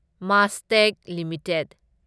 Mastek limited